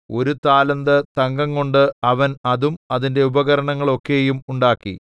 ഒരു താലന്ത് തങ്കംകൊണ്ട് അവൻ അതും അതിന്റെ ഉപകരണങ്ങളൊക്കെയും ഉണ്ടാക്കി